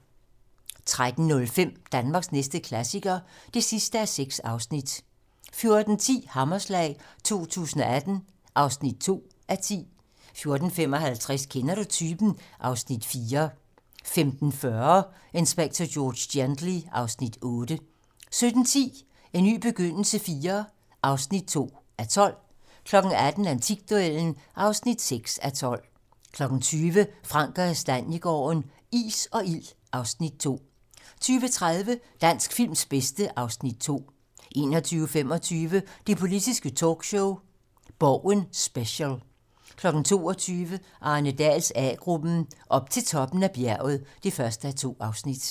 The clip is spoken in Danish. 13:05: Danmarks næste klassiker (6:6) 14:10: Hammerslag 2018 (2:10) 14:55: Kender du typen? (Afs. 4) 15:40: Inspector George Gently (Afs. 8) 17:10: En ny begyndelse IV (2:12) 18:00: Antikduellen (6:12) 20:00: Frank & Kastaniegaarden - is og ild (Afs. 2) 20:30: Dansk films bedste (Afs. 2) 21:25: Det politiske talkshow - Borgen special 22:00: Arne Dahls A-gruppen: Op til toppen af bjerget (1:2)